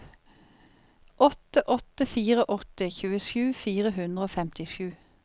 åtte åtte fire åtte tjuesju fire hundre og femtisju